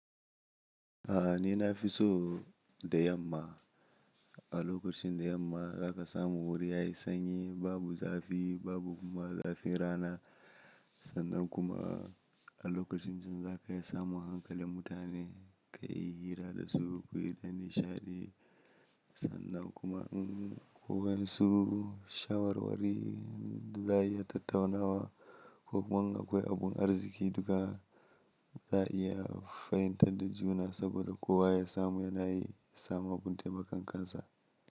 A'a ni na fi so da yamma. A lokacin da yamma za ka samu wuri yayi sanyi, babu zafi, babu kuma zafin rana. Sannan kuma a lokacin zan za ka iya samun hankalin mutane, ka yi hira da su, ku yi ta shaɗi. Sannan kuma in ku gansu shawarwari za a iya tattaunawa ko kuma in akwai abun arziki duka za a iya fahimtar da juna saboda kowa ya samu, yana yi samu abun taimakon kansa.